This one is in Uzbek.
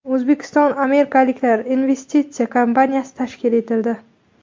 O‘zbekistonAmirliklar investitsiya kompaniyasi tashkil etildi.